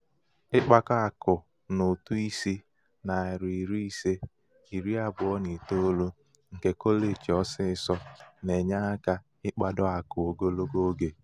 ịkpakọ akụ n'ụtụ ísì nari ise iri abụọ na itoolu nke kọleji ọsịsọ na-enye aka ịkpado akụ ogologo oge.